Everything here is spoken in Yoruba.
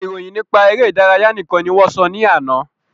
Ìròyìn nípa eré ìdárayá nìkan ni wọ́n sọ ní àná